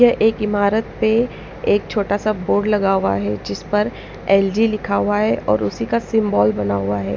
यह एक इमारत पे एक छोटा सा बोर्ड लगा हुआ है जिस पर एल_जी लिखा हुआ है और उसी का सिंबल बना हुआ है।